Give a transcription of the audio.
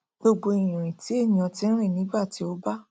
gbogbo ìrìn tí ènìà ti rìn nígbà tí ó bá